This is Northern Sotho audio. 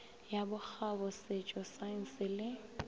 ya bokgabo setšo saense le